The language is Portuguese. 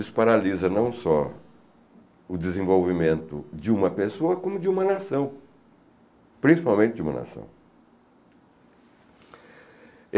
Isso paralisa não só o desenvolvimento de uma pessoa, como de uma nação, principalmente de uma nação.